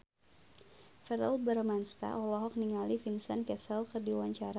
Verrell Bramastra olohok ningali Vincent Cassel keur diwawancara